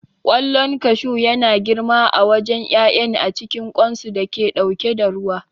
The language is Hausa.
Ƙwallon kashu yana girma a wajen ƴaƴan a cikin ƙwanso da yake ɗauke da ruwa.